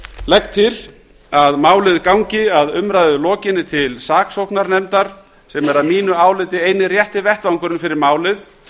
legg til að málið gangi að umræðu lokinni til saksóknarnefndar sem er að mínu áliti eini rétti vettvangurinn fyrir málið